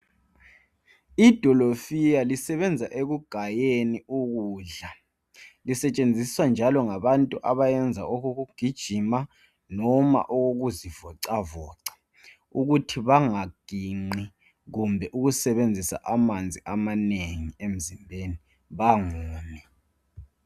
Idolofiya lisebenza ekugayeni ukudla. Sisetshenziswa njalo ngabantu abayenza okokugijima noma okokuzi vocavoca uthi banga gingqi kumbe ukusebenzisa amanzi amanengi emzimbeni kumbe bangomi.